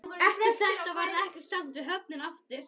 Eftir þetta varð ekkert samt við höfnina aftur.